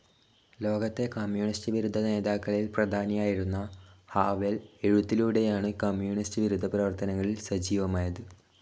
ലോകത്തെ കമ്മ്യൂണിസ്റ്റ്‌ വിരുദ്ധ നേതാക്കളിൽ പ്രധാനിയിരുന്ന ഹാവെൽ എഴുത്തിലൂടെയാണു കമ്മ്യൂണിസ്റ്റ്‌ വിരുദ്ധ പ്രവർത്തനങ്ങളിൽ സജീവമായത്‌.